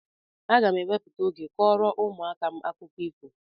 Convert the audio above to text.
Aga m ewepụta oge kọọrọ ụmụaka m akụkọ ifo.